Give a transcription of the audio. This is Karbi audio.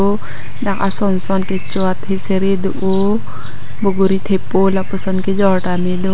dak asonson kecho athesere do o bokori thepo lapuson kejor tame do.